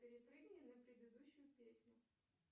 перепрыгни на предыдущую песню